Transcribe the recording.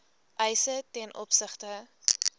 eise ten opsigte